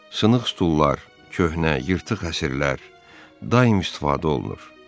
Sınıq stullar, köhnə, yırtıq əsirlər, daim istifadə olunur.